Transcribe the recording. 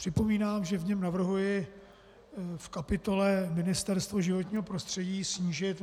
Připomínám, že v něm navrhuji v kapitole Ministerstvo životního prostředí snížit